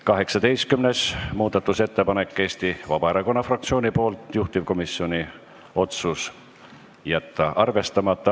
18. muudatusettepanek on Eesti Vabaerakonna fraktsioonilt, juhtivkomisjoni otsus: jätta arvestamata.